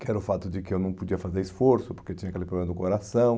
que era o fato de que eu não podia fazer esforço, porque tinha aquele problema do coração.